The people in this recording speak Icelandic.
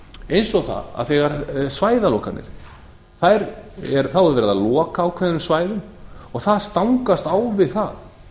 eins og það að þegar svæðalokanir þá er verið að loka ákveðnum svæðum og það stangast á við það